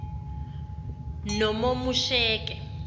nomomusheke